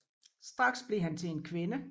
Straks blev han til en kvinde